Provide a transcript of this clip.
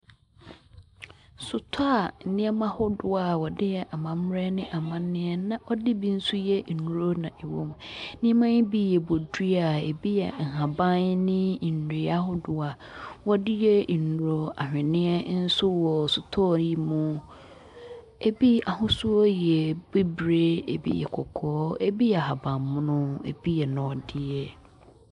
Sotɔɔ a nneɛma ahodoɔ wɔde yɛ amambrɛ ɛne amanneɛ na wɔde bi so yɛ nduro na ɛwɔ mu. Nnepma yi bi yɛ bodua, ebi yɛ nhaban ne ndua ahodoɔ a wɔde yɛ nduro. Ahweniɛ nso wɔ sotɔɔ yi mu. Ebi ahosuo yɛ bibire, ebi yɛ kɔkɔɔ, ebi yɛ ahabammono, ebi yɛ nɔdeɛ.